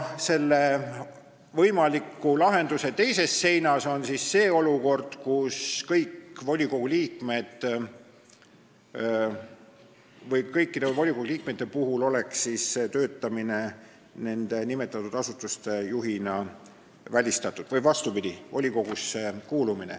Selle võimaliku lahenduse teises seinas on see olukord, kus kõikide volikogu liikmete puhul oleks volikogusse kuulumine välistatud.